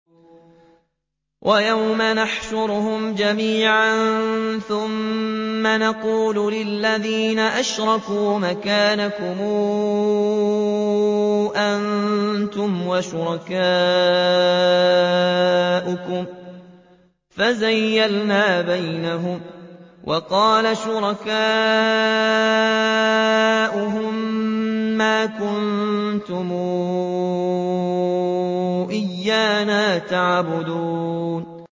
وَيَوْمَ نَحْشُرُهُمْ جَمِيعًا ثُمَّ نَقُولُ لِلَّذِينَ أَشْرَكُوا مَكَانَكُمْ أَنتُمْ وَشُرَكَاؤُكُمْ ۚ فَزَيَّلْنَا بَيْنَهُمْ ۖ وَقَالَ شُرَكَاؤُهُم مَّا كُنتُمْ إِيَّانَا تَعْبُدُونَ